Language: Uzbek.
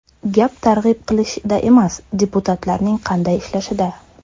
Gap targ‘ib qilishda emas, deputatlarning qanday ishlashida.